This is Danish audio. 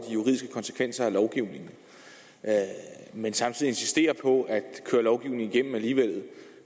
juridiske konsekvenser af lovgivningen men samtidig insisterer på at køre lovgivningen igennem alligevel